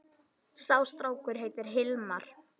Sá strákur heitir Hilmar.